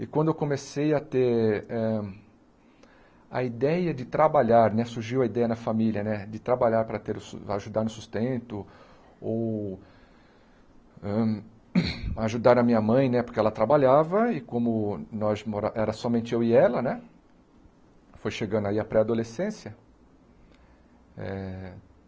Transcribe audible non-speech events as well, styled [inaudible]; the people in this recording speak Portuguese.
E quando eu comecei a ter hem a ideia de trabalhar, né surgiu a ideia na família de trabalhar para ter o ajudar no sustento ou ajudar hm [coughs] a minha mãe, porque ela trabalhava e como nós mora era somente eu e ela né, foi chegando aí a pré-adolescência. Eh